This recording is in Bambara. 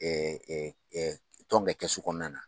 tɔn ka kɛsu kɔnɔna na.